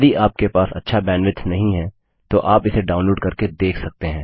यदि आपके पास अच्छा बैंडविड्थ नहीं है तो आप इसे डाउनलोड करके देख सकते हैं